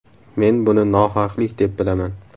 Men buni nohaqlik deb bilaman.